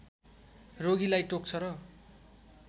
रोगीलाई टोक्छ र